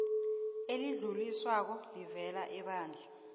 elidluliswako elivela ebandla